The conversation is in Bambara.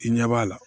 I ɲɛ b'a la